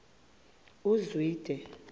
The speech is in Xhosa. uzwide